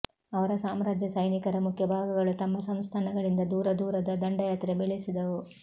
ಅವರ ಸಾಮ್ರಾಜ್ಯ ಸೈನಿಕರ ಮುಖ್ಯ ಭಾಗಗಳು ತಮ್ಮ ಸಂಸ್ಥಾನಗಳಿಂದ ದೂರ ದೂರದ ದಂಡಯಾತ್ರೆ ಬೆಳೆಸಿದವು